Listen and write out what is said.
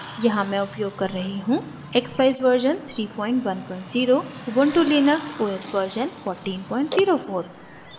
यहाँ मैं उपयोग कर रही हूँ: